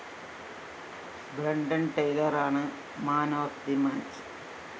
ബ്രണ്ടന്‍ ടെയ്‌ലറാണ്‌ man of the match